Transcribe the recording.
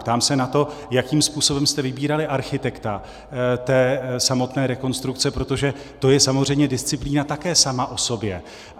Ptám se na to, jakým způsobem jste vybírali architekta té samotné rekonstrukce, protože to je samozřejmě disciplína také sama o sobě.